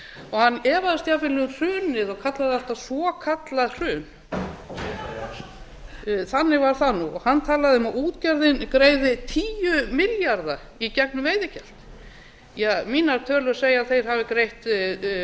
hann efaðist jafnvel um hrunið og kallaði þetta svokallað hrun þannig var það nú hann talaði um að útgerðin greiði tíu milljarða í gegnum veiðigjald mínar tölur segja að þeir hafi greitt